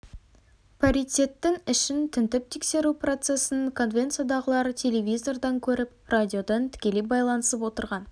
паритеттің ішін тінтіп тексеру процесін конвенциядағылар телевизордан көріп радиодан тікелей байланысып отырған